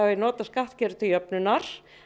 nota skattkerfið til jöfnunar